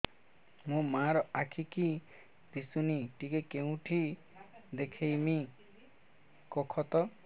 ମୋ ମା ର ଆଖି କି ଦିସୁନି ଟିକେ କେଉଁଠି ଦେଖେଇମି କଖତ